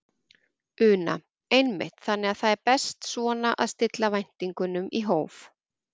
Una: Einmitt, þannig að það er best svona að stilla væntingunum í hóf?